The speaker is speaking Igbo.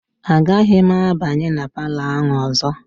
Agaghị m abanye na palọ ahụ ọzọ.